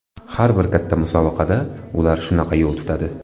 Har bir katta musobaqada ular shunaqa yo‘l tutadi.